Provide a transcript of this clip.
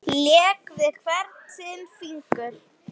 Lék við hvern sinn fingur.